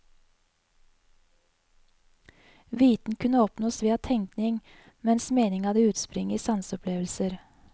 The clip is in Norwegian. Viten kunne oppnås via tenkning, mens mening hadde utspring i sanseopplevelser.